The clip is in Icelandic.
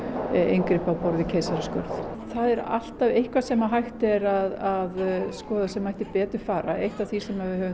inngripa á borð við keisaraskurð það er alltaf eitthvað sem hægt er að skoða sem mættu betur fara eitt af því sem við höfum